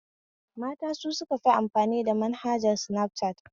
Mata su sukafi amfani da manhajar sinafcat